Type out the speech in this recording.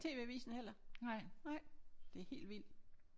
Tv-avisen heller? Nej? Det er helt vildt